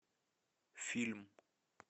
фильм